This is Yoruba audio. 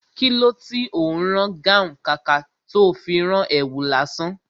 Kilo tí ó ń rán gáhùn, kàkà tó fi rán èwù lásán?